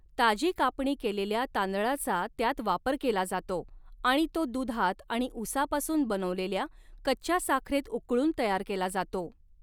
ताजी कापणी केलेल्या तांदळाचा त्यात वापर केला जातो आणि तो दुधात आणि ऊसापासून बनवलेल्या कच्च्या साखरेत उकळून तयार केला जातो.